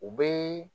U bɛ